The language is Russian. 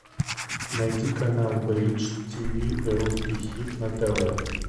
найди канал бридж тв русский хит на тв